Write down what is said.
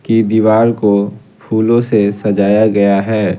की दीवार को फूलों से सजाया गया है।